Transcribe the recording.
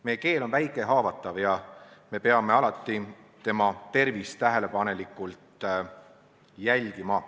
Meie keel on väike ja haavatav, me peame tema tervist tähelepanelikult jälgima.